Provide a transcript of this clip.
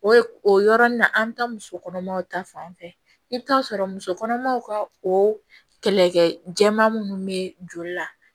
O o yɔrɔnin na an mi taa musokɔnɔmaw ta fan fɛ i bi taa sɔrɔ muso kɔnɔmaw ka o kɛlɛkɛ jɛman munnu bɛ joli la